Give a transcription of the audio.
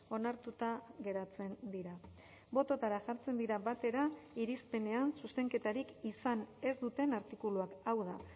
onartuta geratzen dira bototara jartzen dira batera irizpenean zuzenketarik izan ez duten artikuluak hau da